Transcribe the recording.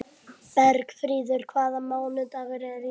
Bergfríður, hvaða mánaðardagur er í dag?